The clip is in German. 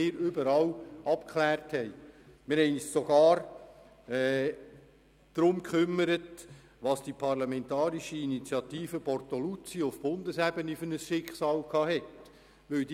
Wir haben uns sogar mit der parlamentarischen Initiative auf Bundesebene von Toni Bortoluzzi beschäftigt, um deren Schicksal zu ergründen.